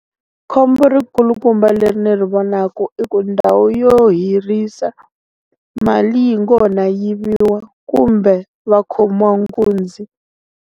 Khombo ri kulukumba le ri ni ri vonaku i ku ndhawu yo hirhisa, mali yi ngo ha no yiviwa kumbe va khomiwa nkunzi.